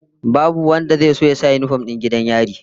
Babu wanda zai so ya sa yinifom din 'yan gidan yari